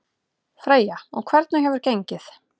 Freyja: Og hvernig hefur gengið?